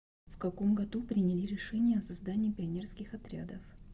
в каком году приняли решение о создании пионерских отрядов